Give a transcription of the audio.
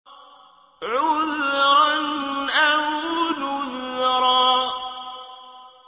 عُذْرًا أَوْ نُذْرًا